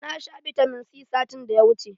Na sha bitamin C satin da ya wuce